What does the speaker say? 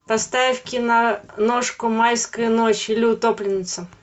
поставь киношку майская ночь или утопленница